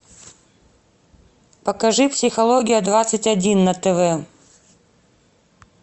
покажи психология двадцать один на тв